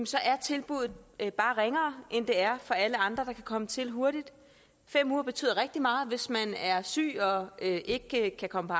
så er tilbuddet bare ringere end det er for alle andre der kan komme til hurtigt fem uger betyder rigtig meget hvis man er syg og ikke ikke kan komme på